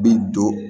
Bi don